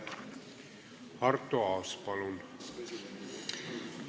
Arto Aas, palun!